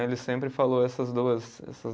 Ele sempre falou essas duas, essas